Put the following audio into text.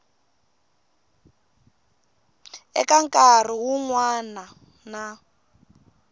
eka nkarhi wun wana na